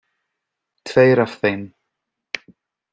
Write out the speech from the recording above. Tveir af þeim